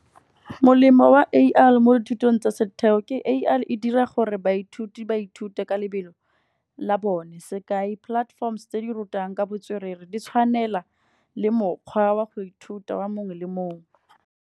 Molemo wa A_I mo dithutong tsa setheo ke A_I dira gore baithuti baithute ka lebelo la bone. Sekai platforms tse di rutang ka botswerere, di tshwanela le mokgwa wa go ithuta wa mongwe le mongwe.